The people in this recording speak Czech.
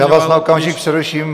Já vás na okamžik přeruším.